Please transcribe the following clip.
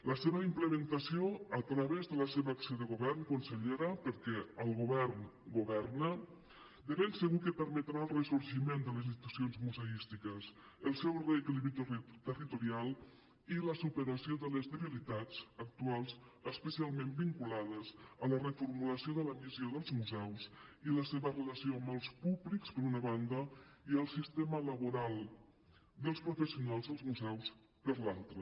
la seva implementació a través de la seva acció de govern consellera perquè el govern governa de ben segur que permetrà el ressorgiment de les institucions museístiques el seu reequilibri territorial i la superació de les debilitats actuals especialment vinculades a la reformulació de la missió dels museus i la seva relació amb els públics per una banda i el sistema laboral dels professionals dels museus per l’altra